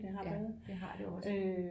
Ja det har det også